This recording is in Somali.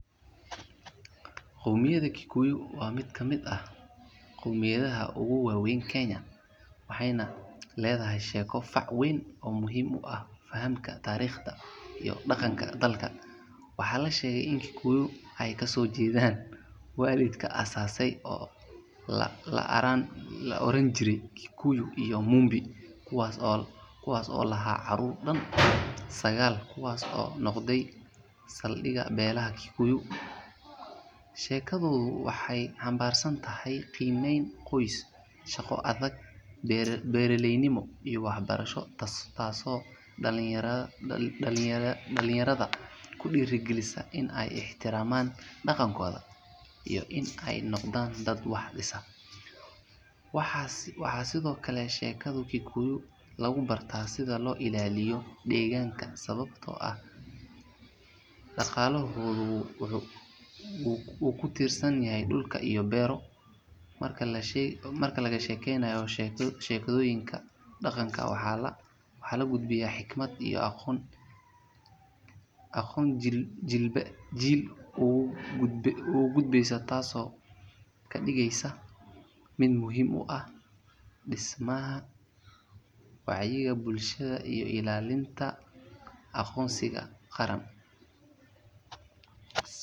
qowmiyada kikuyu waa mid kamid ah qowmiyadaha ugu faca weyn dalka kenya waxey na leedahay sheeko fac weyn oo muhiim ah fahanka dalka iyo tariiqda dalka waxa la sheegay in kukuyu ka soo jeedaan waalidka aasasay la oran jiray kukuyu iyo mumbi kuwaas oo noqday saldhiga beelaha kikuyi. sheekadu waxey xamvaarsan tahay qimmeyn qoys , shaqo adag , beeraleynimo iyo waxbarsho taas oo dhalinyarda ku dhiiragalisa in ay ixtiramaan dhaqankooda in ay noqdaan dad wax dhisa . waxaa sido kale sheekada kikuyu lagu barta sida deegaanka loo ilaaliyo .marka la sheegaayo sheekoyinka waxaa la gudbiya aqoon taas oo jiilba jiil uu ka gudbinaayo taas oo ka dhigeysa mid muhiim ah dhismaha wacyiga bulshada iyo ilaalinta bulshada iyo aqoonsiga qaran